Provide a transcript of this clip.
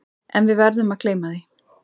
En við verðum að gleyma því.